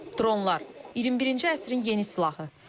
Dronlar 21-ci əsrin yeni silahı.